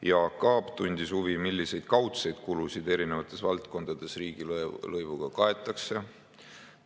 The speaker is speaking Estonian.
Jaak Aab tundis huvi, milliseid kaudseid kulusid eri valdkondades riigilõivuga kaetakse.